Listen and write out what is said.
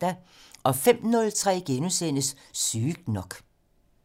05:03: Sygt nok *